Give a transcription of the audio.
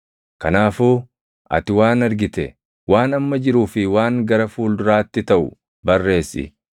“Kanaafuu ati waan argite, waan amma jiruu fi waan gara fuulduraatti taʼu barreessi.